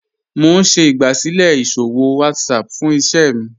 Mo n ṣẹ̀ igbásílẹ̀ iṣòwò WhatsApp fún ìṣẹ̀ mi